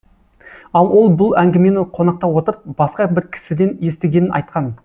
ал ол бұл әңгімені қонақта отырып басқа бір кісіден естігенін айтқан